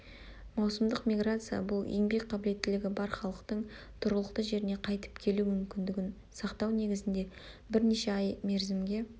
маусымдық миграция-бұл еңбек қабілеттілігі бар халықтың тұрғылықты жеріне қайтіп келу мүмкіндігін сақтау негізінде бірнеше ай мерзімге